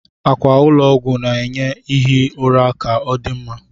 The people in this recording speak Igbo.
Akwa ụlọ ọgwụ na-enye ihi ụra ka odị mma